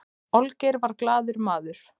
olgeir var glaður maður